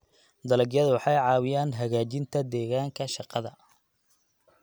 Dalagyadu waxay caawiyaan hagaajinta deegaanka shaqada.